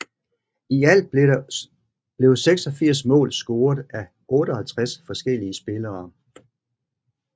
I alt blev 86 mål scoret af 58 forskellige spillere